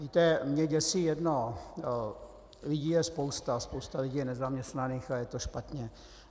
Víte, mě děsí jedno - lidí je spousta, spousta lidí je nezaměstnaných a je to špatně.